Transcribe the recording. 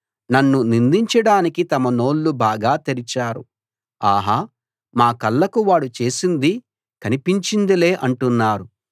నన్ను నిందించడానికి తమ నోళ్ళు బాగా తెరిచారు ఆహా మా కళ్ళకు వాడు చేసింది కనిపించిందిలే అంటున్నారు